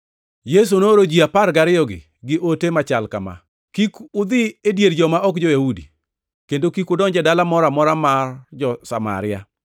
Yesu nooro ji apar gariyogi gi ote machal kama: “Kik udhi e dier joma ok jo-Yahudi, kendo kik udonj e dala moro amora mar jo-Samaria.